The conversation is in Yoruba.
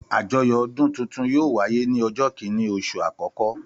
Àjọyọ̀ ọdún tuntun yóò wáyé ní ọjọ́ kìíní oṣù àkọ́kọ́.